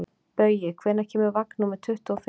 Baui, hvenær kemur vagn númer tuttugu og fimm?